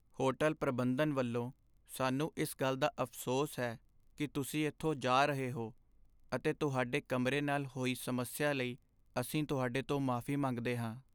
Hotel ਪ੍ਰਬੰਧਨ ਵੱਲੋਂ, ਸਾਨੂੰ ਇਸ ਗੱਲ ਦਾ ਅਫ਼ਸੋਸ ਹੈ ਕਿ ਤੁਸੀਂ ਇੱਥੋਂ ਜਾ ਰਹੇ ਹੋ ਅਤੇ ਤੁਹਾਡੇ ਕਮਰੇ ਨਾਲ ਹੋਈ ਸਮੱਸਿਆ ਲਈ ਅਸੀਂ ਤੁਹਾਡੇ ਤੋਂ ਮੁਆਫ਼ੀ ਮੰਗਦੇ ਹਾਂ।